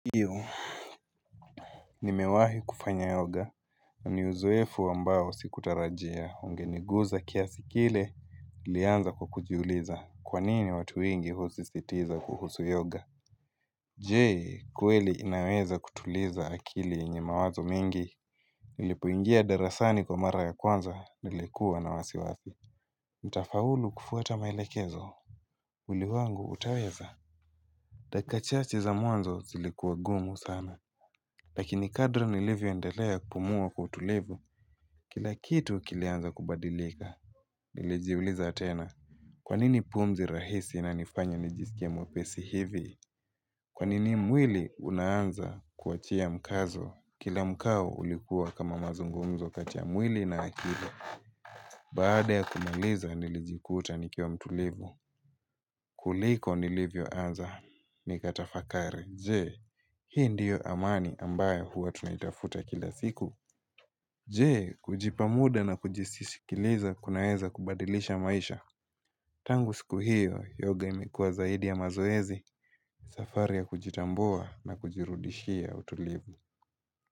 Ivo nimewahi kufanya yoga ni uzoefu ambao sikutarajia ungeniguza kiasi kile ilianza kwa kujiuliza kwanini watu wengi husisitiza kuhusu yoga Je kweli inaweza kutuliza akili yenye mawazo mengi nilipoingia darasani kwa mara ya kwanza nilikuwa na wasiwasi nitafaulu kufuata maelekezo mwili wangu utaweza dakika chache za mwanzo zilikuwa gumu sana Lakini kadri nilivyoendelea kupumua kwa utulivu, kila kitu kilianza kubadilika. Nilijiuliza tena, kwanini pumzi rahisi inanifanya nijiskie mwepesi hivi? Kwanini mwili unaanza kuachia mkazo? Kila mkao ulikuwa kama mazungumzo kati ya mwili na akili. Baada ya kumaliza nilijikuta nikiwa mtulivu. Kuliko nilivyoanza, nikatafakari. Je, hii ndiyo amani ambayo huwa tunaitafuta kila siku Je, kujipa muda na kujisikiliza kunaeza kubadilisha maisha Tangu siku hio, yoga imekuwa zaidi ya mazoezi safari ya kujitambua na kujirudishia utulivu.